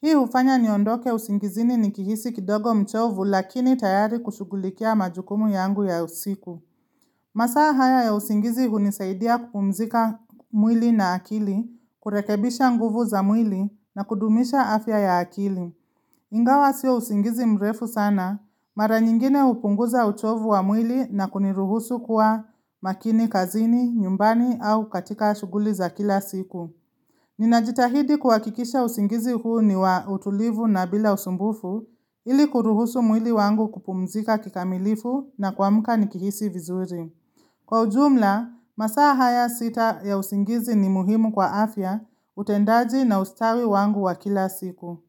Hii hufanya niondoke usingizini nikihisi kidogo mchovu lakini tayari kushughulikia majukumu yangu ya usiku. Masaa haya ya usingizi hunisaidia kupumzika mwili na akili, kurekebisha nguvu za mwili na kudumisha afya ya akili. Ingawa sio usingizi mrefu sana, mara nyingine hupunguza uchovu wa mwili na kuniruhusu kuwa makini kazini, nyumbani au katika shuguli za kila siku. Ninajitahidi kuhakikisha usingizi huu ni wa utulivu na bila usumbufu ili kuruhusu mwili wangu kupumzika kikamilifu na kuamka nikihisi vizuri. Kwa ujumla, masaa haya sita ya usingizi ni muhimu kwa afya utendaji na ustawi wangu wa kila siku.